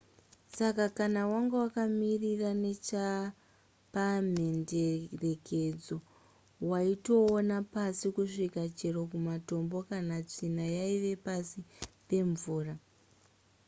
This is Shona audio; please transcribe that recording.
saka kana wanga wakamira nechepamhenderekedzo waitoona pasi kusvika chero tumatombo kana tsvina yaiva pasi pemvura